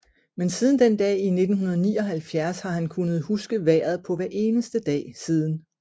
Men siden den dag i 1979 har han kunnet huske vejret på hver eneste dag siden